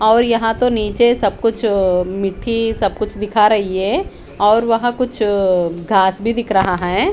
और यहाँ तो नीचे सबकुछ अ मिट्टी सब कुछ दिखा रही है और वहाँ कुछ अ घास भी दिख रहा है।